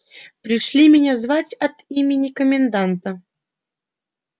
пришли меня звать от имени коменданта